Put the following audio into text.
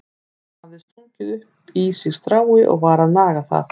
Hann hafði stungið upp í sig strái og var að naga það.